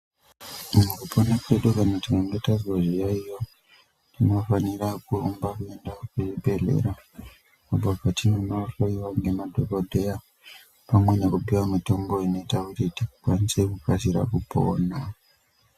Mukupona kwedu kana tikange tazwa zviyaiyo tinofanira kurumba kuenda kuzvibhedhlera apo patinonohloyiwa ngemadhokodheya pamwe nekupiwa mitombo inota kuti tikwanise kukasira kupona.